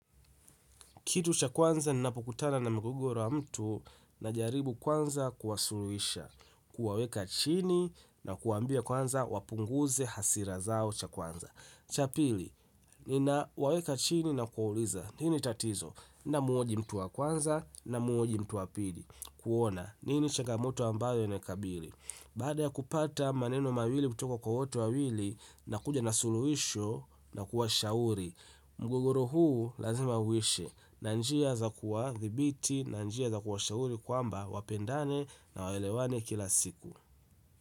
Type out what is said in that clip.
Kitu cha kwanza ninapukutana na migogoro wa mtu na jaribu kwanza kuwasuluisha, kuwaweka chini na kuwaambia kwanza wapunguze hasira zao cha kwanza. Cha pili, ninawaweka chini na kuwauliza, nini tatizo, na muhoji mtu wa kwanza na muhoji mtu wa pili, kuona, nini chagamoto ambayo inai kabili. Baada ya kupata maneno mawili kutoka kwa wote wawili nakuja na suluhisho na kuwashauri mgogoro huu lazima uishe. Na njia za kuwathibiti, na njia za kuwashauri kwamba wapendane na waelewane kila siku.